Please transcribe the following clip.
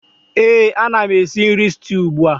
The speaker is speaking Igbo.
Éè, ana m esi nri stew ugbu a